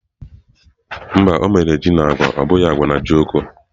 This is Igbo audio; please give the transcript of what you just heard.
Mba, o mere ji na agwa abụghị agwa na ojokọ́.